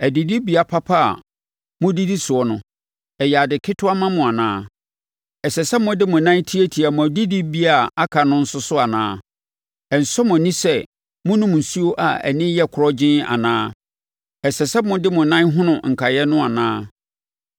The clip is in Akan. Adidibea papa a modidi soɔ no, ɛyɛ ade ketewa ma mo anaa? Ɛsɛ sɛ mode mo nan tiatia mo adidibea a aka no nso so anaa? Ɛnsɔ mo ani sɛ monom nsuo a ani yɛ korɔgyenn anaa? Ɛsɛ sɛ mode mo nan hono nkaeɛ no anaa?